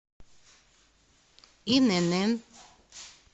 инн